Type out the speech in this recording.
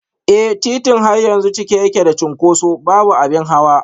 Eh, titin har yanzu cike yake da cunkoso, babu abin hawa